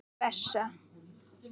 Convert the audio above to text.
Þín Bessa.